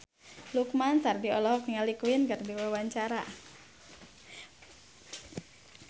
Lukman Sardi olohok ningali Queen keur diwawancara